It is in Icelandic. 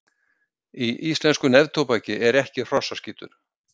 Í íslensku neftóbaki er ekki hrossaskítur.